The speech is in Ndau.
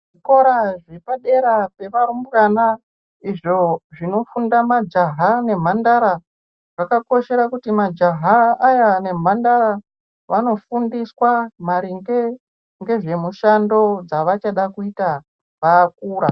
Zvikora zvepadera pevarumbwana izvo zvinofunda majaha nemhandara zvakakoshera kuti majaha aya nemhandara vanofundiswa maringe ngezvemushando dzaavachada kuita vakura.